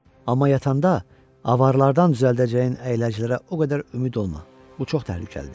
Amma yatanda avarlardan düzəldəcəyin əyləcilərə o qədər ümid olma, bu çox təhlükəlidir.